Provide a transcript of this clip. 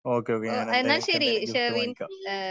okay okay ഞാൻ എന്തയാലും നിനക്ക് എന്തായലും ഗിഫ്റ്റ് വാങ്ങിക്കാം